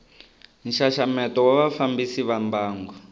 nxaxameto wa vafambisi va mbangu